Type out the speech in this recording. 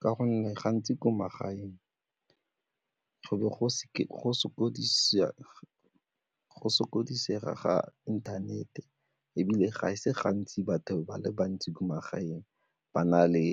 Ka gonne gantsi ko magaeng go be go sokodise ga inthanete ebile ga e se gantsi batho ba le bantsi ko magaeng ba na le